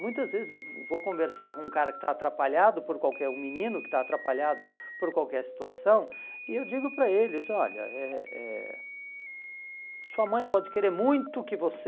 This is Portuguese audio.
Muitas vezes eu vou conversar com um cara que está atrapalhado, por qualquer um menino que está atrapalhado por qualquer situação, e eu digo para eles, olha, eh eh sua mãe pode querer muito que você...